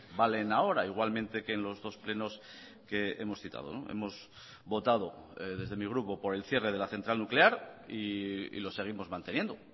valen ahora igualmente que en los dos plenos que hemos citado hemos votado desde mi grupo por el cierre de la central nuclear y lo seguimos manteniendo